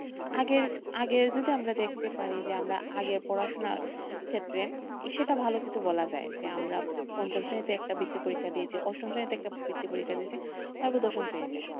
আগের, আগে যদি আমরা দেখতে পারি যে আমরা আগের পড়াশোনার ক্ষেত্রে সেটা ভালো কিছু বলা যায় যে আমরা পঞ্চম শ্রেণীতে একটা বৃত্তি পরীক্ষা দিয়েছি অষ্টম শ্রেণীতে একটা বৃত্তি পরীক্ষা দিয়েছি তারপর দশম শ্রেণীতে,